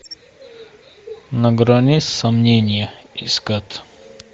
на грани сомнения искать